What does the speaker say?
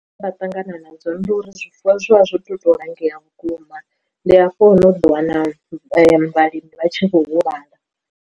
Zwe nda ṱangana nadzo ndi uri zwifuwo zwi vha zwo tou langea vhukuma ndi hafho hune u ḓo wana vhalimi vha tshi kho huvhala.